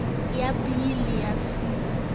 ya b le ya c